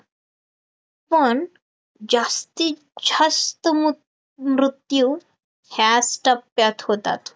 पण जास्तीत जास्त मूत मृत्यू ह्याच टप्प्यात होतात